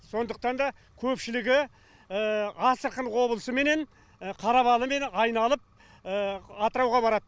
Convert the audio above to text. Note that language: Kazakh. сондықтан да көпшілігі астрахань облысыменен қарабалымен айналып атырауға барады